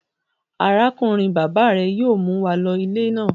Arákùnrin-bàbá rẹ yóò mú wa lọ ilé náà.